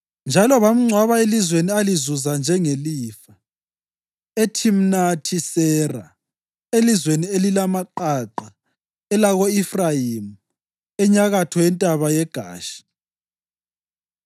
Njalo bamngcwaba elizweni alizuza njengelifa, eThimnathi-Sera elizweni elilamaqaqa elako-Efrayimi enyakatho yentaba yeGashi.